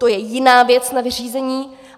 To je jiná věc na vyřízení.